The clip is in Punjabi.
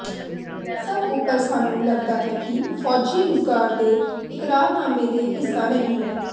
ਸਭ ਉਪਰ ਸਾਨੂੰ ਲੱਗਦਾ ਹੈ ਕਿ ਫੌਜੀ ਰੁਜ਼ਗਾਰ ਦੇ ਇਕਰਾਰਨਾਮੇ ਦੇ ਹਿੱਸਾ ਨਹੀ ਹੈ